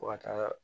Fo ka taa